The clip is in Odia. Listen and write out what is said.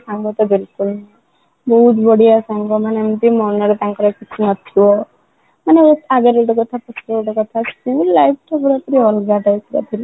ସାଙ୍ଗ ତ ବିଲକୁଲ ବହୁତ ବଢିଆ ସାଙ୍ଗ ମାନେ ଏମିତି ମନ ରେ ତାଙ୍କର କିଛି ନଥିବ ମାନେ ଆଗରେ ଗୋଟେ କଥା ପଛରେ ଗୋଟେ କଥା school life ଟା ପୁରା ଅଲଗା type ର ଥିଲା